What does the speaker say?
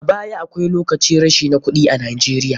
A baya akwai locin rashi na kuɗi a Najeiya.